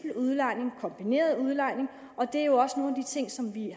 udlejning kombineret udlejning og det er jo også nogle af de ting som vi